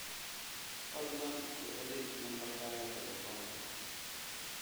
Fadlan ku celi lambarkaaga taleefanka